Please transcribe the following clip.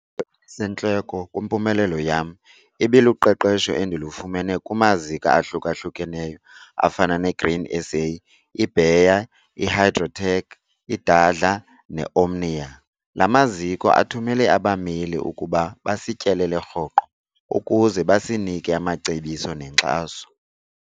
elisentloko kwimpumelelo yam ibiluqeqesho endilufumene kumaziko ahluka-hlukeneyo afana neGrain SA, iBayer, iHygrotech, iDARDLA neOmnia. La maziko athumele abameli ukuba basityelele rhoqo ukuze basinike amacebiso nenkxaso.